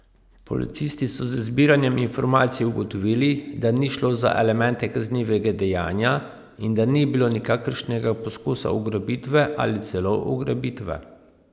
Policisti so z zbiranjem informacij ugotovili, da ni šlo za elemente kaznivega dejanja in da ni bilo nikakršnega poskusa ugrabitve ali celo ugrabitve!